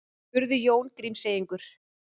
spurði Jón Grímseyingur.